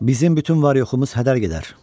Bizim bütün var-yoxumuz hədər gedər.